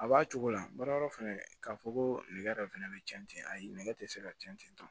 A b'a cogo la baarayɔrɔ fɛnɛ k'a fɔ ko nɛgɛ dɔ fɛnɛ bɛ cɛn ten ayi nɛgɛ tɛ se ka tiɲɛ ten tɔ